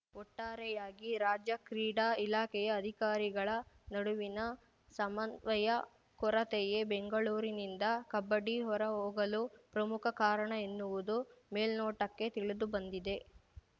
ಒಟ್ಟಾರೆಯಾಗಿ ರಾಜ್ಯ ಕ್ರೀಡಾ ಇಲಾಖೆಯ ಅಧಿಕಾರಿಗಳ ನಡುವಿನ ಸಮನ್ವಯ ಕೊರತೆಯೇ ಬೆಂಗಳೂರಿನಿಂದ ಕಬಡ್ಡಿ ಹೊರಹೋಗಲು ಪ್ರಮುಖ ಕಾರಣ ಎನ್ನುವುದು ಮೇಲ್ನೋಟಕ್ಕೆ ತಿಳಿದುಬಂದಿದೆ